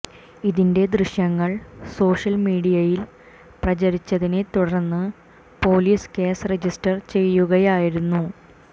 ഇതിന്റെ ദൃശ്യങ്ങൾ സോഷ്യൽ മീഡിയയിൽ പ്രചരിച്ചതിനെ തുടർന്ന് പോലീസ് കേസ് രജിസ്റ്റർ ചെയ്യുകയായിരുന്നു